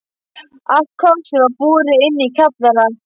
Allt kvarsið var borið inn í kjallara.